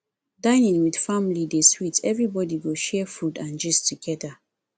dining with family dey sweet everybody go share food and gist together